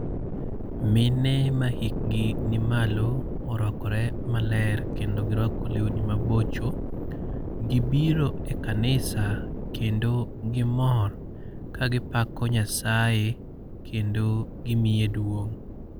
Mine mahikgi ni malo orwakore maler, kendo girwako lewni mabocho. Gibiro e kanisa kendo gimor ka gipako nyasaye, kendo gimiye duong'.